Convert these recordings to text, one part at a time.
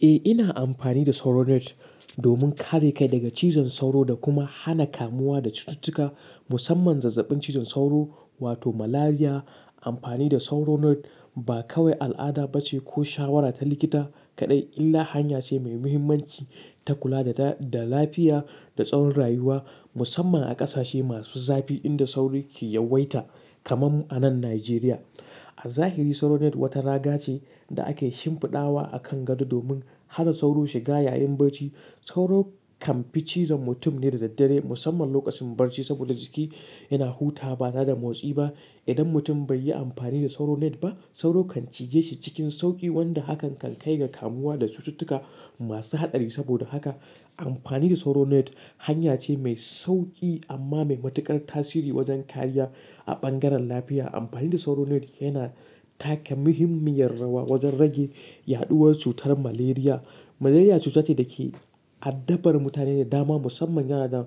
Eh, ina amfani da sauro net domin kare kai daga cizon sauro da kuma hana kamuwa da cututtuka musamman zazzabin cizon sauro wato Malaria. Amfani da sauro net ba kawai al'ada bace ko shawara ta likita kaɗai, illa hanya ce mai muhimmanci ta kula da, da lafiya da tsawon rayuwa musamman a ƙasashe masu zafi inda sauro ke yawaita kamar mu anan Nijeriya. A zahiri sauro net wata raga ce da ake shimfiɗawa akan gado domin hana sauro shiga yayin bacci. Sauro kan fi cizon mutum ne da daddare musamman lokacin bacci saboda jiki yana hutawa ba tare motsi ba. Idan mutum bai yi amfani da sauro net ba sauro kan cije shi cikin sauƙi wanda hakan kan kai ga kamuwa da cututtuka masu haɗari. Saboda haka amfani da sauro net hanya ce mai sauƙi amma mai matuƙar tasiri wajen kariya a bangaren lafiya. Amfani da sauro net yana taka muhimmiyar rawa wajen rage yaɗuwar cutar Malaria. Malaria cuta ce da ke addabar mutane da dama musamman yana da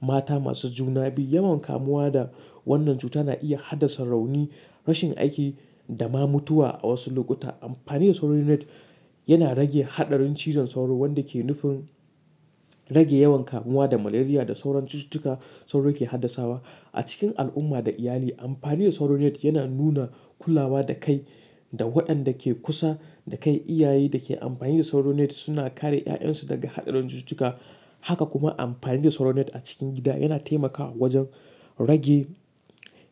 mata masu juna biyu. Yawan kamuwa da wannan cuta na iya haddasa rauni, rashin aiki da ma mutuwa a wasu lokuta. Amfani da sauro net yana rage haɗarin cizon sauro wanda ke nufin rage yawan kamuwa da Malaria da sauran cututtuka sauro ke haddasawa. A cikin al'umma da iyali amfani da sauro net yana nuna kulawa da kai da waɗanda ke kusa da kai. Iyaye da ke amfani da sauro net suna kare 'ya'yansu daga haɗarin cututtuka. Haka kuma amfani da sauro net a cikin gida yana taimakawa wajen rage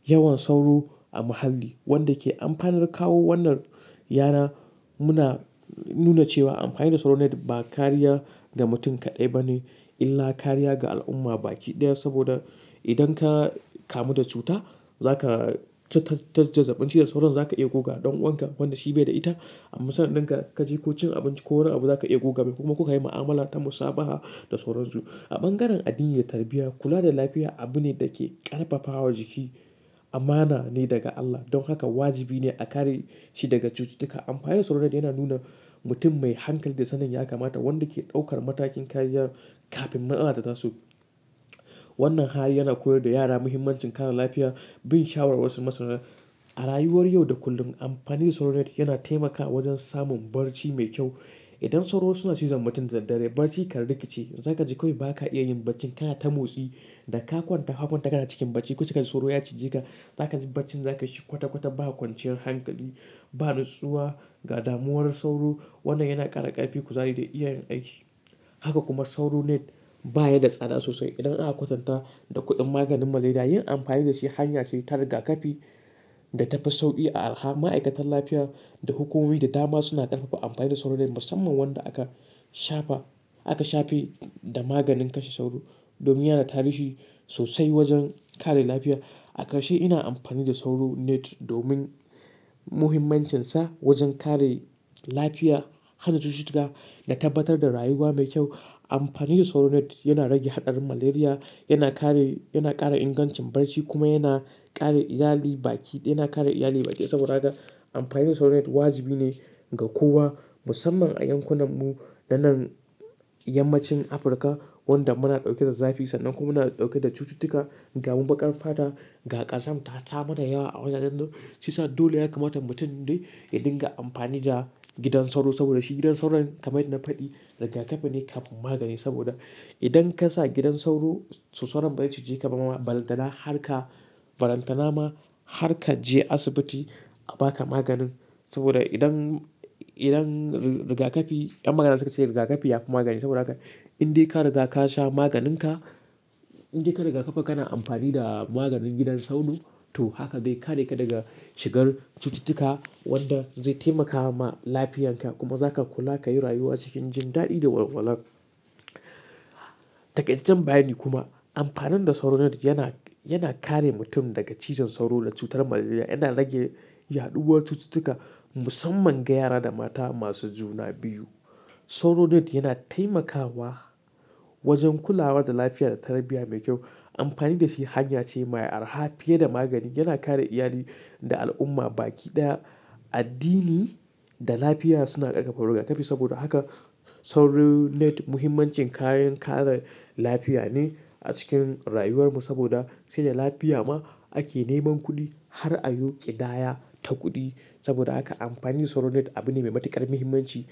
yawan sauro a muhalli wanda ke amfanar kawo wannan, yana nuna cewa amfani da sauro net ba kariya ga mutum kaɗai ba ne illa kariya ga al'umma baki ɗaya. Saboda idan ka kamu da cuta zaka ta, ta, ta zazzabin cizon sauro, zaka iya guga don wanka wanda shi bai da ita. Amma sanan ɗin ka, ka je ka ci abinci ko wani abu zaka iya goga mai kuma kuka yi ma'amala ta musabaha da sauran su. A bangaren addini da tarbiyya kula da lafiya abu ne da ke ƙarfafawa jiki. Amana ne daga Allah. Don haka wajibi ne a kare shi daga cututtuka. Amfani da sauro net yana nuna mutum mai hankali da sanin ya kamata wanda ke ɗaukar matakin kariya kafin nan ana ta tasu. Wannan hali yana koyar da yara muhimmancin kare lafiya bin shawara wasu masana. A rayuwar yau da kullum amfani da sauro net yana taimakawa wajen samun bacci mai kyau. Idan sauro suna cizon mutum da daddare bacci kar liƙice. Zaka ji kawai ba ka iya yin bacci kana ta motsi da ka kwanta hakon taka na cikin bacci kuka ji sauro ya cije ka. Zaka ji bacci zaka ci kwata kwata ba kwanciyar hankali, ba natsuwa, gadamuwar sauro. Wannan yana ƙara ƙarfi, kuzari da iya yin aiki. Haka kuma sauro net baya da tsada sosai. Idan aka kwatanta da kuɗin maganin Malaria yin amfani da shi hanya ce ta riga ƙafi da tafi sauƙi a araha. Ma'aikatan lafiya da hukumomi da dama suna ƙarfafa amfani da sauro net musamman wanda aka shafa, aka shafe da maganin kashe sauro domin yana da tarihi sosai wajen kare lafiya. A ƙarshe ina amfani da sauro net domin muhimmancinsa wajen kare lafiya, hana cututtuka da tabbatar da rayuwa mai kyau. Amfani da sauro net yana rage haɗarin Malaria, yana kare, yana ƙara ingancin bacci kuma yana kare iyali baki ɗaya, yana kare iyali baki ɗaya. Saboda haka amfani da sauro net wajibi ne ga kowa musamman a yankunan mu da nan yammacin Afrika wanda muna ɗauke da zafi sannan kuma muna ɗauke da cututtuka. Ga mu baƙar fata, ga ƙazanta ta mana yawa a wajajen nan. Shiyasa dole ya kamata mutum dai ya dinga amfani da gidan sauro saboda shi gidan sauro kamar yanda na faɗi riga kafi ne kan magani. Saboda idan ka sa gidan sauro, sauron bazai cije ka ba ma, balan tana har kaje balan tana ma har ka je asibiti a ba ka maganin. Saboda idan, idan riga ƙafi, ƴan magana suke cewa riga ƙafi ya fi magani. Saboda haka in dai ka riga ka sha maganin ka, in dai ka riga ƙafa kana amfani da maganin gidan sauro to haka zai kare ka daga shigar cututtuka wanda zai taimaka ma lafiyanka kuma za ka kula ka yi rayuwa cikin jin daɗi da walwala. Takaitaccen bayi kuma amfani da sauro net yana, yana kare mutum daga cizon sauro da cutar Malaria. Yana rage yaɗuwar cututtuka musamman ga yara da mata masu juna biyu. Sauro net yana taimakawa wajen kulawa da lafiya da tarbiyya mai kyau. Amfani da shi hanya ce mai araha fiye da magani. Yana kare iyali da al'umma baki ɗaya. Addini da lafiya suna ƙarfafa riga ƙafi saboda haka sauro net muhimmancin kayan kare lafiya ne a cikin rayuwar mu saboda sai da lafiya ma ake neman kuɗi har a yi ƙidaya ta kuɗi. Saboda haka amfani da sauro net abu ne mai matuƙar muhimmanci.